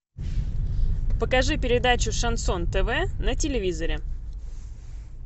покажи передачу шансон тв на телевизоре